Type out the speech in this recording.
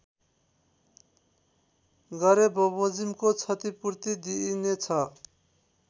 गरेबमोजिमको क्षतिपूर्ति दिइनेछ